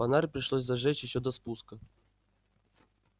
фонарь пришлось зажечь ещё до спуска